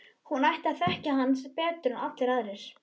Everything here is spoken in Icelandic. Hún sem ætti að þekkja hann betur en allir aðrir.